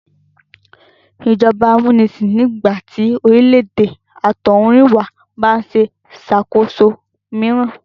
Ìjọba amúnisàn ni ìgbà tí orílè-èdè àtọ̀húnrìnwá bá ń ṣàkóso mìíràn